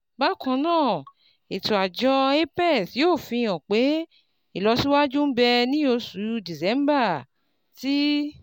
Bákan náà, ètò àjọ apex yóò fi hàn pé ìlọsíwájú ń bẹ ní oṣù December tí